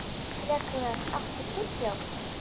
Rögnvar, áttu tyggjó?